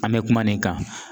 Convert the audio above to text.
An mɛ kuma nin kan